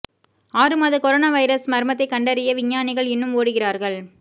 ஆறு மாத corona virus மர்மத்தை கண்டறிய விஞ்ஞானிகள் இன்னும் ஓடுகிறார்கள்